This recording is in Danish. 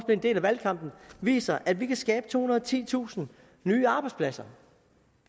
en del af valgkampen viser at vi kan skabe tohundrede og titusind nye arbejdspladser